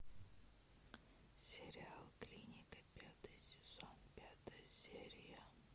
сериал клиника пятый сезон пятая серия